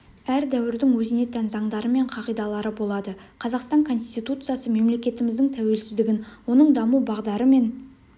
әр дәуірдің өзіне тән заңдары мен қағидалары болады қазақстан конституциясы мемлекетіміздің тәуелсіздігін оның даму бағдары мен